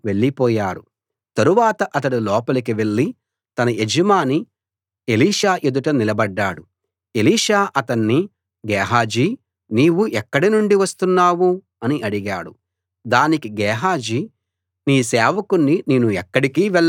తరువాత అతడు లోపలికి వెళ్ళి తన యజమాని ఎలీషా ఎదుట నిలబడ్డాడు ఎలీషా అతణ్ణి గేహజీ నీవు ఎక్కడినుండి వస్తున్నావ్ అని అడిగాడు దానికి గేహాజీ నీ సేవకుణ్ణి నేను ఎక్కడికీ వెళ్ళలేదు అన్నాడు